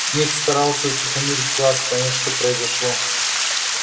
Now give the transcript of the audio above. снегг старался утихомирить класс понять что произошло